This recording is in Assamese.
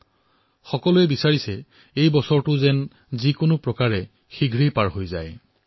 জনসাধাৰণে কেৱল এটা কথাই চিন্তা কৰিছে যে যিকোনো উপায়েৰে এই বৰ্ষটো শেষ হওক